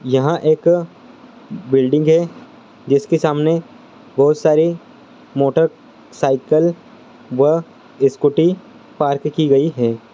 यह एक बिल्डिंग है जिस के सामने बहुत सारी मोटर-साइकिल व स्कूली पार्क की गई है।